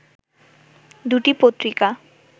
দুটি পত্রিকা